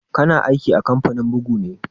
Ka na aiki a kamfanin bugu ne?